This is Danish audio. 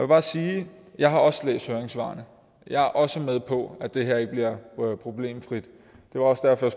bare sige at jeg også har læst høringssvarene og jeg er også med på at det her ikke bliver problemfrit det var også derfor